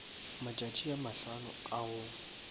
matšatši a mahlano a go